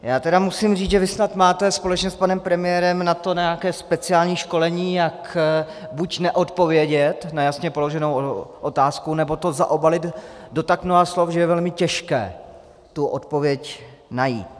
Já tedy musím říct, že vy snad máte společně s panem premiérem na to nějaké speciální školení, jak buď neodpovědět na jasně položenou otázku, nebo to zaobalit do tak mnoha slov, že je velmi těžké tu odpověď najít.